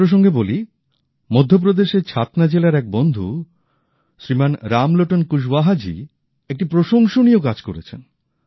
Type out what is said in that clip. এ প্রসঙ্গে বলি মধ্যপ্রদেশের ছাতনা জেলার এক বন্ধু শ্রীমান রামলোটন কুসওয়াহা জি একটি প্রশংসনীয় কাজ করেছেন